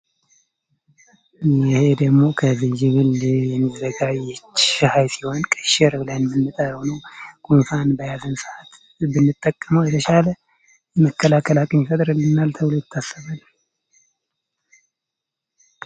ይህ ደግሞ ከዝንጅብል የሚዘጋጅ ሻይ ሲሆን ቀሽር በመባል ይታወቃል ጉንፋን ለያዘው ሰው የመከላከል አቅም ይፈጥርልናል ተብሎ ይታሰባል።